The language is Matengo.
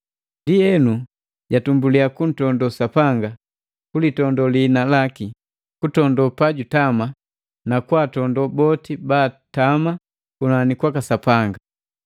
Ndienu, jatumbuliya kuntondo Sapanga, kulitondo liina laki, kutondo pa jutama, na kwaatondo boti baatama kunani kwaka Sapanga.